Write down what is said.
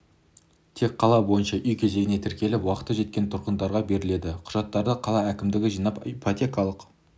тек қала бойынша үй кезегіне тіркеліп уақыты жеткен тұрғындарға беріледі құжаттарды қала әкімдігі жинап ипотекалық